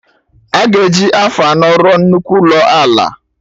Aga eji afọ anọ rụọ nnukwu ụlọ ala